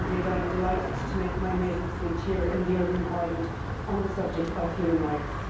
Indeed, I am delighted to make my maiden speech here in the European Parliament on the subject of human rights.